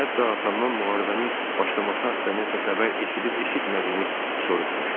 Hətta atamdan müharibənin başlaması haqda nəsə xəbər eşidib-eşitmədiyini soruşmuşdum.